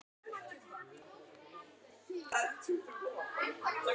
Ég veit hvað það heitir